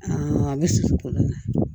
a bɛ susu kolon na